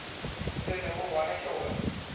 se lego gona ke gore